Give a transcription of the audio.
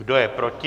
Kdo je proti?